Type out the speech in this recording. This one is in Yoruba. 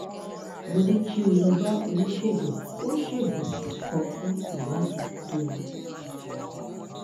mo ní kí o lọ bá oníṣègùn-ò-ṣègùn kan fún ìwádìí tó yẹ